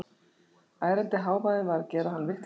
Ærandi hávaðinn var að gera hann vitlausan.